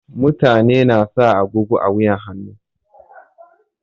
Mutane na sa agogo a wuyan hannu.